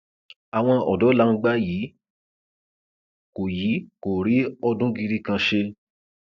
àwọn ọdọ làǹgbà yìí kò yìí kò rí ọdún gidi kan ṣe